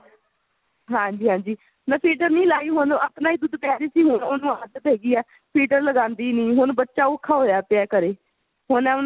ਹਾਂਜੀ ਹਾਂਜੀ ਮੈਂ feeder ਨਹੀਂ ਲਾਈ ਹੁਣ ਆਪਣਾ ਹੀ ਦੁੱਧ ਦੇ ਰਹੀ ਸੀ ਹੁਣ ਉਹਨੂੰ ਆਦਤ ਪੈ ਗਈ ਏ feeder ਲਗਾਂਦੀ ਨਹੀ ਹੁਣ ਬੱਚਾ ਔਖਾ ਹੋਇਆ ਪਿਆ ਘਰੇ ਹੁਣ ਮੈਂ